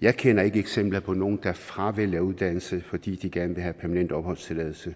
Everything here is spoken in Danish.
jeg kender ikke eksempler på nogen der fravælger uddannelse fordi de gerne vil have permanent opholdstilladelse